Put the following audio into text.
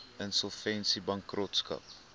insolvensiebankrotskap